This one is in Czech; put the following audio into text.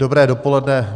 Dobré dopoledne.